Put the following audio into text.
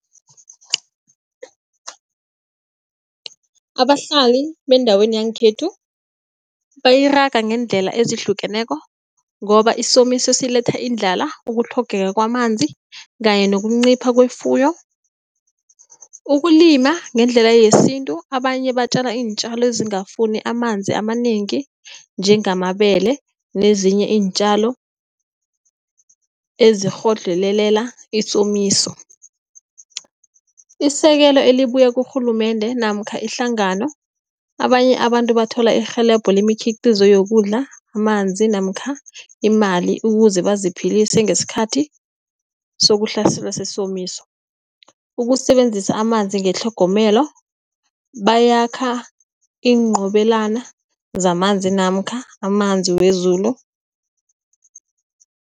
Abahlali beendaweni yangekhethu bayiraga ngeendlela ezihlukeneko, ngoba isomiso siletha indlala ukutlhogeka kwamanzi kanye nokuncipha kwefuyo. Ukulima ngendlela yesintu abanye batjale iintjalo ezingafuni amanzi amanengi, njengamabele nezinye iintjalo ezikghodlhelelela isomiso. Isekelo elibuya kurhulumende namkha ihlangano abanye abantu bathole irhelebho lemikhiqizo yokudla amanzi namkha imali ukuze baziphilise, ngesikhathi sokuhlaselwa sesomiso. Ukusebenzisa amanzi ngetlhogomelo bayakha iinqobelana zamanzi namkha amanzi wezulu.